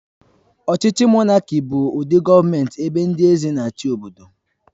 Ọchịchị monáki bụ ụdị gọọmenti ebe ndị eze n'chi obodo